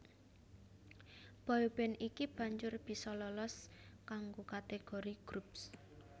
Boy band iki banjur bisa lolos kanggo kategori Groups